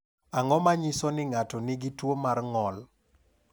Ang’o ma nyiso ni ng’ato nigi tuwo mar ng’ol?